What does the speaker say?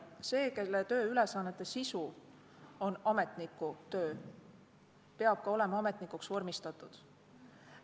See, kelle tööülesannete sisu on ametnikutöö, peab olema ka ametnikuks vormistatud.